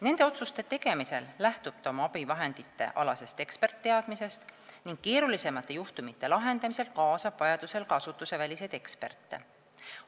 Nende otsuste tegemisel lähtub ta oma abivahenditealastest eksperditeadmistest ning keerulisemate juhtumite lahendamisel kaasab vajadusel asutuseväliseid eksperte.